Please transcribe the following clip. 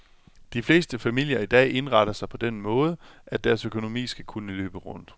De fleste familier i dag indretter sig på den måde, at deres økonomi skal kunne løbe rundt.